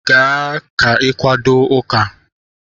Gaa ka ị kwado ụka!